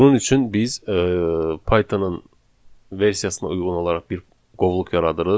Bunun üçün biz Python-un versiyasına uyğun olaraq bir qovluq yaradırıq.